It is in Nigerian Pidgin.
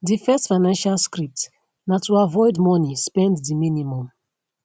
di first financial script na to avoid money spend di minimum